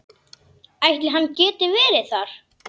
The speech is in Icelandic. Ætli hann geti verið þar?